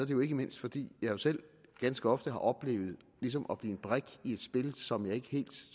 jo ikke mindst fordi jeg selv ganske ofte har oplevet ligesom at blive en brik i et spil som jeg ikke helt